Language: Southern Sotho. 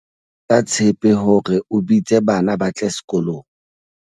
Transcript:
Letsa tshepe hore o bitse bana ba tle sekolong.